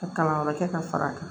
Ka kalan wɛrɛ kɛ ka fara a kan